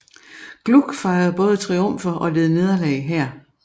Gluck fejrede både triumfer og led nederlag her